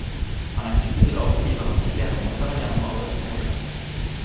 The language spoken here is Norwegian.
Han er knyttet til arbeidsgiveren på flere måter enn gjennom arbeidsforholdet.